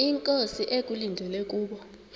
inkosi ekulindele kubo